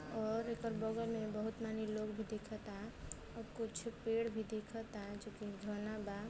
और एकर बगल में बहुत माने लोग भी दिखता और कुछ पेड़ भी दिखता जो कि घना बा।